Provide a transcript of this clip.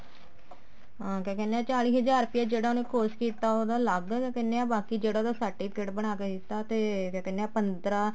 ਹਾਂ ਕਿਆ ਕਹਿਨੇ ਹਾਂ ਚਾਲੀ ਹਜ਼ਾਰ ਜਿਹੜਾ ਉਹਨੇ course ਕੀਤਾ ਉਹਦਾ ਅਲੱਗ ਕੀ ਕਹਿਨੇ ਹਾਂ ਬਾਕੀ ਜਿਹੜਾ ਉਹਦਾ certificate ਬਣਾ ਕੇ ਦਿੱਤਾ ਤੇ ਕਿਆ ਕਹਿਨੇ ਆਂ ਪੰਦਰਾਂ